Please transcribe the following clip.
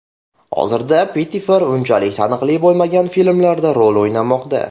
Hozirda Pettifer unchalik taniqli bo‘lmagan filmlarda rol o‘ynamoqda.